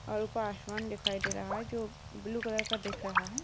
ऊपर आसमान दिखाई दे रहा है जो ब्लू कलर का है।